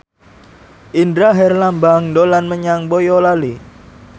Indra Herlambang dolan menyang Boyolali